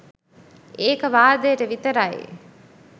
ඒක වාදයට විතරයි